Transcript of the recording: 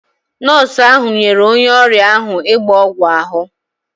Nọọsụ ahụ nyere onye ọrịa ahụ ịgba ọgwụ ahụ.